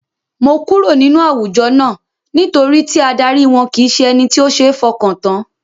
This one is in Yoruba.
Mo kúrò nínú àwùjọ náà, nítorí tí adarí wọn kìí ṣe ẹni tí ó seé f'ọkàn tán.